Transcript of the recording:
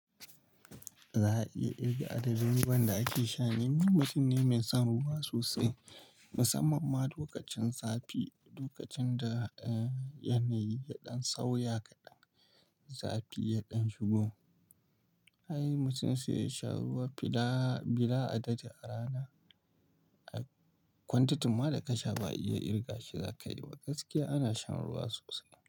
Za a iya irga adadi ruwan da ake sha ne, ni mutum ne mai son ruwa sosai musamman ma lokacin zafi, lokacin da yanayi ya ɗan sauya kaɗan, zafi ya ɗan shigo. Ai mutum sai yasha ruwa bila adadi a rana, kwantitin ma da ka sha ba a iya irga shi za ka yi. A gaskiya ana shan ruwa sosai.